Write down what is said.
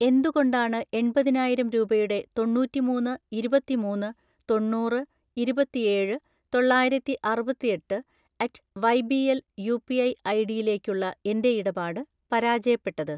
എന്തുകൊണ്ടാണ് എൺപതിനായിരം രൂപയുടെ തൊണ്ണൂറ്റിമൂന്ന് ഇരുപത്തിമൂന്ന് തൊണ്ണൂറ് ഇരുപത്തിയേഴ് തൊള്ളായിരത്തിഅറുപത്തിയെട്ട് at Y B L UPI ഐഡിയിലേക്കുള്ള എൻ്റെ ഇടപാട് പരാജയപ്പെട്ടത്?